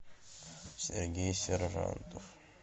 сергей сержантов